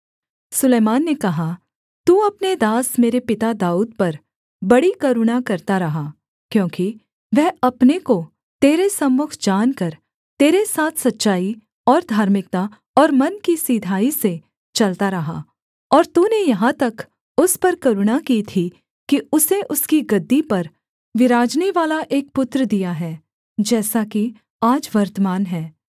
सुलैमान ने कहा तू अपने दास मेरे पिता दाऊद पर बड़ी करुणा करता रहा क्योंकि वह अपने को तेरे सम्मुख जानकर तेरे साथ सच्चाई और धार्मिकता और मन की सिधाई से चलता रहा और तूने यहाँ तक उस पर करुणा की थी कि उसे उसकी गद्दी पर बिराजनेवाला एक पुत्र दिया है जैसा कि आज वर्तमान है